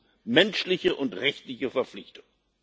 Das ist menschliche und rechtliche Verpflichtung!